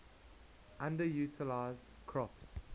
underutilized crops